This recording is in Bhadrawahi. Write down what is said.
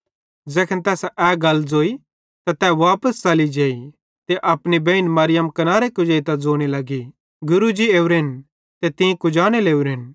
ज़ैखन तैसां ए गल ज़ोई त तै वापस च़ली जेई ते अपनी बेइन मरियम कनारे कुजेइतां ज़ोने लगी गुरू जी ओरेन ते तीं कुजाने लगोरेन